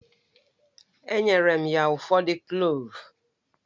Enyere m ya ụfọdụ Kloovu